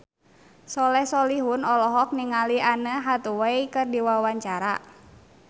Soleh Solihun olohok ningali Anne Hathaway keur diwawancara